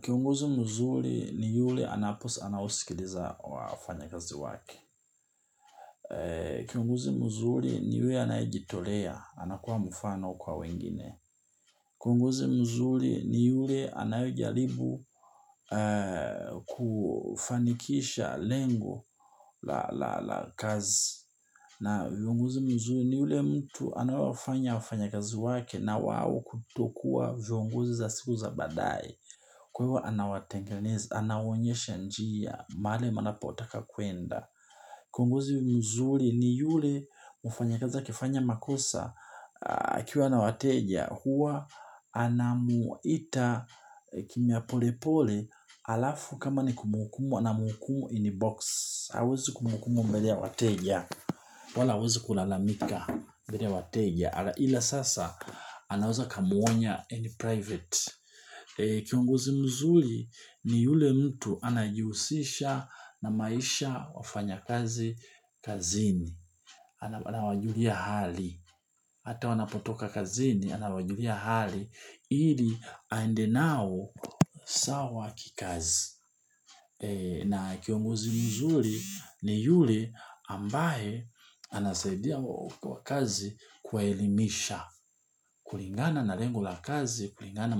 Kiongozi mzuri ni yule anapo anaosikiliza wafanyakazi wake. Kiongozi mzuri ni yule anayejitolea, anakuwa mfano kwa wengine. Kiongozi mzuri ni yule anayejaribu kufanikisha lengo la kazi. Na viongozi mzuri ni yule mtu anawafanya wafanyakazi wake na wao kutokuwa viongozi za siku za baadaye. Kwa hivyo anawatengenezi, anawonyesha njia, mahali mnapotaka kuenda. Kiongozi mzuri ni yule mfanyakazi akifanya makosa akiwa na wateja. Huwa anamuita kimya pole pole alafu kama ni kumhukumu, anamhukumu ini box. Hawezi kumhukumu mbele ya wateja, wala hawezi kulalamika mbele ya wateja. Hala ila sasa anaweza akamuonya in private. Kiongozi mzuri ni yule mtu anayejihusisha na maisha wafanyakazi kazini, anawajulia hali, hata wanapotoka kazini, anawajulia hali ili aende nao sawa kikazi. Na kiongozi mzuri ni yule ambaye anasaidia kwa kazi kuwaelimisha, kulingana na lengo la kazi, kulingana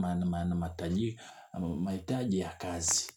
mahitaji ya kazi.